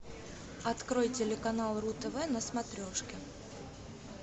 открой телеканал ру тв на смотрешке